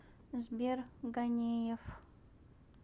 сбер ганеев